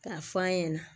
K'a f'an ɲana